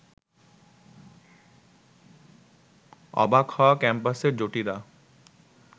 অবাক হয় ক্যাম্পাসের জুটিরা